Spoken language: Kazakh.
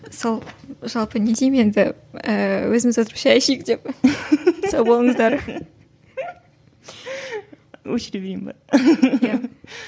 сол жалпы не деймін енді ііі өзіміз отырып шәй ішейік деп сау болыңыздар өшіре берейін бе иә